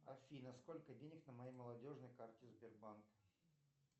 афина сколько денег на моей молодежной карте сбербанка